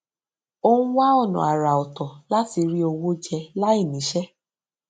ó ń wá ònà àrà òtọ láti rí owó jẹ láì níṣé